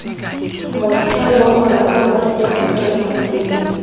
motheo wa morafe mo temokerasing